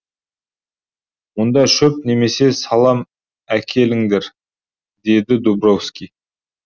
мұнда шөп немесе салам әкеліңдер деді дубровский